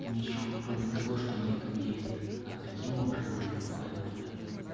ничего кроме того что они там есть а каким образом они попали туда